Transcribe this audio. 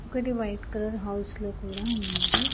ఒకటి white colour house లో కూడా ఉన్నది.